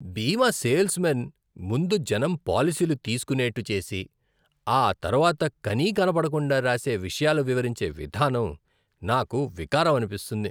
బీమా salesmen ముందు జనం పాలసీలు తీసుకోనేట్టు చేసి, ఆ తర్వాత కనీకనపడకుండా రాసే విషయాలు వివరించే విధానం నాకు వికారం అనిపిస్తుంది.